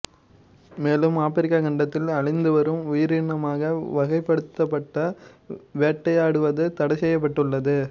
மேலும் ஆப்பிரிக்க கண்டத்தில் அழிந்துவரும் உயிரினமாக வகைப்படுத்தப்பட்டு வேட்டையாடுவது தடைசெய்யப்பட்டுள்ளது